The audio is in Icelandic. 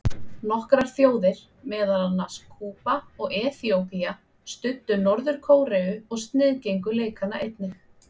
Nokkrar þjóðir, meðal annarra Kúba og Eþíópía, studdu Norður-Kóreu og sniðgengu leikana einnig.